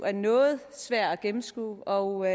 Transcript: er noget svær at gennemskue og